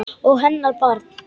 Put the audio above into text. Og hennar barn.